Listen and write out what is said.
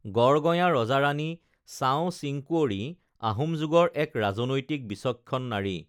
গড় গঞা ৰজা ৰানী চাও চিংকুৱৰী আহোম যুগৰ এক ৰাজনৈতিক বিচক্ষণ নাৰী